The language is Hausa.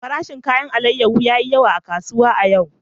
Farashin alayyahu ya yi yawa a kasuwa a yau.